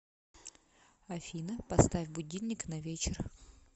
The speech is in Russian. афина поставь будильник на вечер